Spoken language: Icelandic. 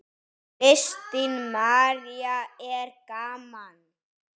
Kristín María: Er gaman?